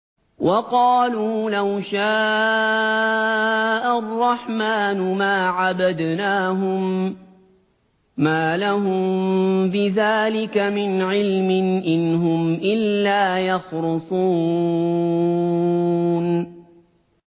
وَقَالُوا لَوْ شَاءَ الرَّحْمَٰنُ مَا عَبَدْنَاهُم ۗ مَّا لَهُم بِذَٰلِكَ مِنْ عِلْمٍ ۖ إِنْ هُمْ إِلَّا يَخْرُصُونَ